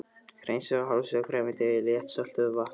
Hreinsið og hálfsjóðið grænmetið í léttsöltuðu vatni.